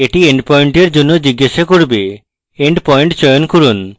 এটি end point এর জন্য জিজ্ঞাসা করবে end point চয়ন করুন